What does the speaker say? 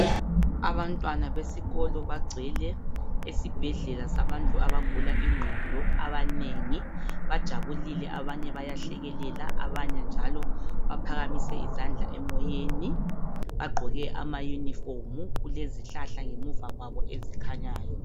Abantwana besikolo bangcwele esibhedlela sabantu abagula ingqondo abanengi. Bajabulile abanye bayahlekelela abanye njalo baphakamise izandla emoyeni, bagqoke amayunifomu, kulezihlahla ngemuva kwabo ezikhanyayo.